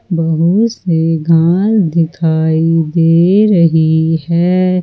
बहुत सी घास दिखाई दे रही है।